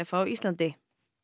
á Íslandi